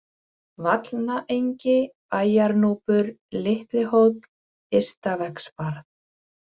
Vallnaengi, Bæjarnúpur, Litli-Hóll, Ystavegsbarð